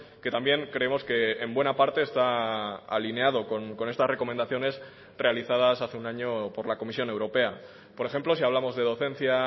que también creemos que en buena parte está alineado con estas recomendaciones realizadas hace un año por la comisión europea por ejemplo si hablamos de docencia